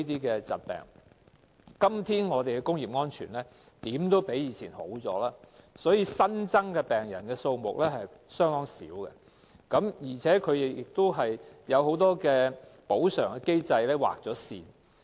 今天，我們的工業安全總比以往有所改善，所以新增的病人數目相當少，而且很多補償機制已經劃線。